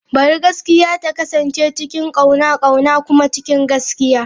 Bari gaskiya ta kasance cikin kauna, kauna kuma cikin gaskiya.